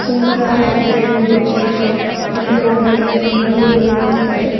ಸುಂದರವಾದ ಬಿಲ್ಡಿಂಗ್ ಇದೆ ಅದಕ್ಕೆ ನೋಡಲಿಕ್ಕೆ ಬಹಳ ಜನರು ಹೋಗ್ತಾರೆ.